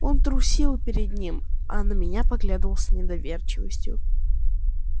он трусил перед ним а на меня поглядывал с недоверчивостью